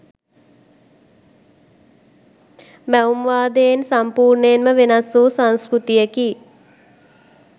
මැවුම්වාදයෙන් සම්පූර්ණයෙන්ම වෙනස් වූ සංස්කෘතියකි.